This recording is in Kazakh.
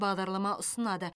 бағдарлама ұсынады